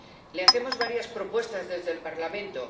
Le hacemos varias propuestas desde el Parlamento.